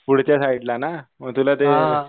पुढच्या साईटला ना? म तुला ते